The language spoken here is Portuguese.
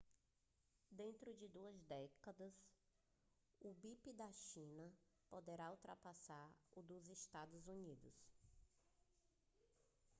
dentro de duas décadas o pib da china poderá ultrapassar o dos estados unidos